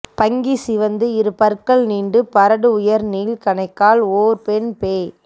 பங்கி சிவந்து இரு பற்கள் நீண்டு பரடு உயர் நீள் கணைக்கால் ஓர் பெண் பேய்